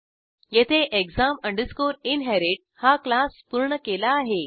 येथे exam inherit हा class पूर्ण केला आहे